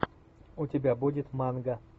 у тебя будет манга